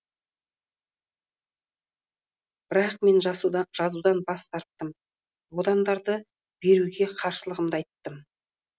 бірақ мен жазудан бас тарттым аудандарды беруге қарсылығымды айттым